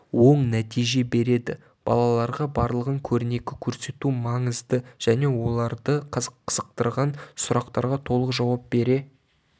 оң нәтиже береді балаларға барлығын көрнекі көрсету маңызды және оларды қызықтырған сұрақтарға толық жауап бере